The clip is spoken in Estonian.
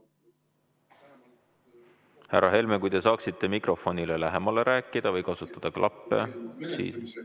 Härra Helme, kas te saaksite mikrofonile lähemal rääkida või kasutada klappe?